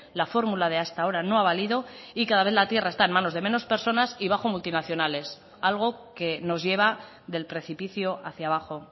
la fórmula de hasta ahora no ha valido y cada vez la tierra está en manos de menos personas y bajo multinacionales algo que nos lleva del precipicio hacia abajo